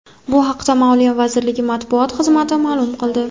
Bu haqda Moliya vazirligi matbuot xizmati ma’lum qildi .